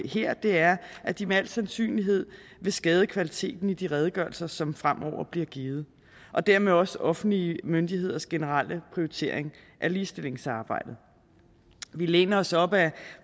her er at de med al sandsynlighed vil skade kvaliteten i de redegørelser som fremover blive givet og dermed også offentlige myndigheders generelle prioritering af ligestillingsarbejdet vi læner os op ad